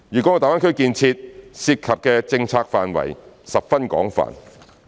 大灣區建設涉及的政策範疇十分廣泛。